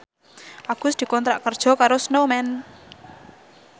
Agus dikontrak kerja karo Snowman